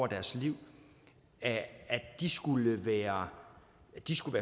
deres liv skulle være